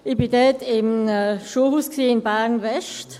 Ich war in einem Schulhaus in Bern-West.